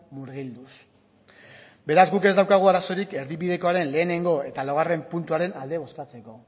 murgilduz beraz guk ez daukagu arazorik erdibidekoaren lehenengo eta laugarren puntuaren alde bozkatzeko